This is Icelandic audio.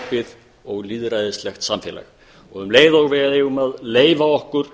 opin og lýðræðislegt samfélag um leið og við eigum að leyfa okkur